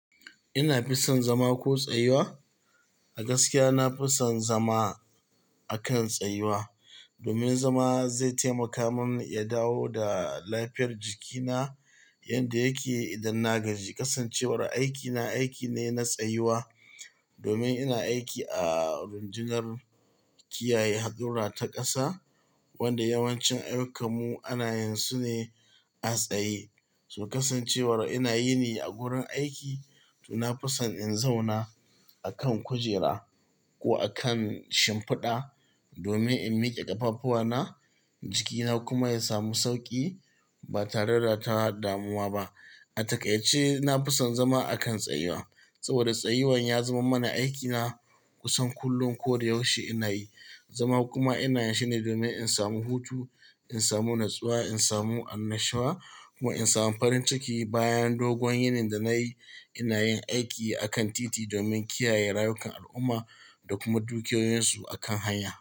Ina fison zama ko tsayuwa? A gaskiya, na fison zama akan tsayuwa domin zama zai taimaka mun ya dawo da lafiyar jikina, inda yake idan na gaji kasancewar aikina aiki ne na tsayuwa domin ina aiki a rundunar kiyaye haɗurra ta ƙasa wanda yawancin ayyukamu ana yansune a tsaye. To kasancewar ina yini a gurin aiki to na fison in zauna akan kujera ko akan shimfiɗa domin in miƙe ƙafafuwana jikina kuma ya samu sauƙi ba tare da ta damuwa ba. A takaice, na fison zama akan tsayuwa saboda tsayuwan ya zaman mana aikina kusan kullum ko da yaushe ina yi. Zama kuma ina yanshne domin in samu hutu, in samu natsuwa, in samu annashuwa kuma in samu farin ciki bayan dogon yinin da nayi. Ina yin aiki akan titi domin kiyaye rayukan al'umma da kuma dukiyoyinsu akan hanya.